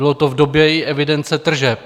Bylo to i v době evidence tržeb.